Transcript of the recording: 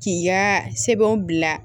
K'i ka sɛbɛnw bila